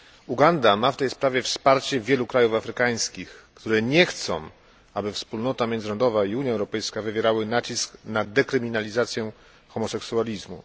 Uganda ma w tej sprawie wsparcie wielu krajów afrykańskich, które nie chcą, aby wspólnota międzynarodowa i Unia Europejska wywierały nacisk na dekryminalizację homoseksualizmu.